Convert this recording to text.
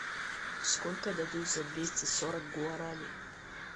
сколько дадут за двести сорок гуарани